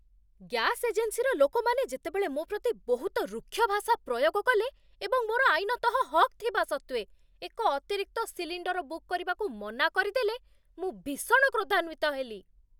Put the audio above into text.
Gas ଏଜେନ୍ସିର ଲୋକମାନେ ଯେତେବେଳେ ମୋ ପ୍ରତି ବହୁତ ରୁକ୍ଷ ଭାଷା ପ୍ରୟୋଗ କଲେ ଏବଂ, ମୋର ଆଇନତଃ ହକ୍ ଥିବା ସତ୍ତ୍ୱେ, ଏକ ଅତିରିକ୍ତ ସିଲିଣ୍ଡର ବୁକ୍ କରିବାକୁ ମନା କରିଦେଲେ, ମୁଁ ଭୀଷଣ କ୍ରୋଧାନ୍ଵିତ ହେଲି।